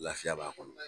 Lafiya b'a kɔnɔ